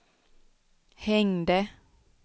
hängde